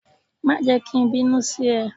Má jẹ́ ki n bínú sí e